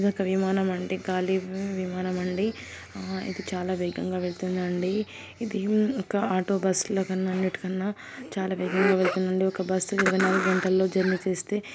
ఇది ఒక విమానం ఆండీ కాలీ విమానం ఆండీ ఇది చాలా వేగంగా వేల్తుందండి ఇది ఒక ఆటో బస్లా కన్నా అన్నింటి కన్నా చాల వేగం గా వేల్తుందండి. ఒక బస్ ఇరవై నాలుగు గంటలో జర్నీ చేస్తే--